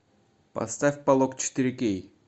поставь полог четыре кей